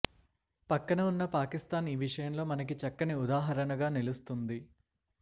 పక్కన వున్న పాకిస్తాన్ ఈ విషయంలో మనకి చక్కని ఉదాహరణగా నిలుస్తోంది